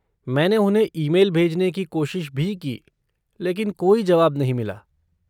मैंने उन्हें ईमेल भेजने की कोशिश भी की, लेकिन कोई जवाब नहीं मिला।